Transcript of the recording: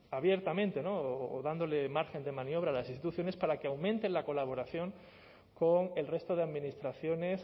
abiertamente no o dándole margen de maniobra a las instituciones para que aumente la colaboración con el resto de administraciones